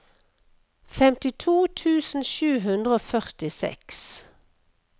femtito tusen sju hundre og førtiseks